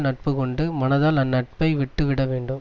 நட்பு கொண்டு மனதால் அந்நட்பை விட்டுவிட வேண்டும்